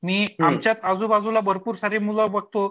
मी आमच्या आजूबाजूला भरपूर सारी मुलं बघतो